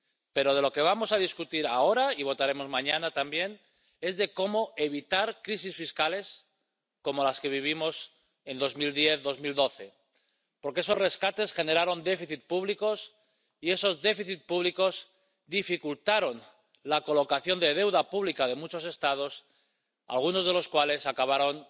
Pero lo que vamos a debatir ahora, y votaremos mañana, también, es cómo evitar crisis fiscales como las que vivimos en 2010 y 2012, porque esos rescates generaron déficits públicos y esos déficits públicos dificultaron la colocación de deuda pública de muchos Estados, algunos de los cuales acabaron